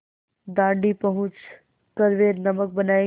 दाँडी पहुँच कर वे नमक बनायेंगे